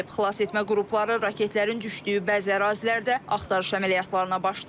Xilasetmə qrupları raketlərin düşdüyü bəzi ərazilərdə axtarış əməliyyatlarına başlayıb.